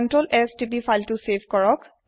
ctrls তিপক file তু save কৰিবলৈ